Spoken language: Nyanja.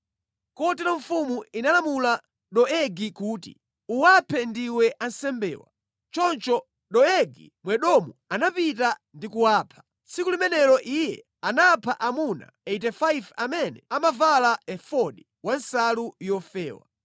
Kotero mfumu inalamula Doegi kuti, “Uwaphe ndiwe ansembewa.” Choncho Doegi Mwedomu anapita ndi kuwapha. Tsiku limenelo iye anapha amuna 85 amene amavala efodi wa nsalu yofewa.